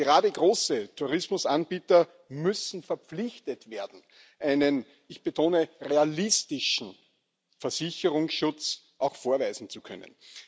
Gerade große Tourismusanbieter müssen verpflichtet werden, einen ich betone realistischen Versicherungsschutz auch vorweisen zu können.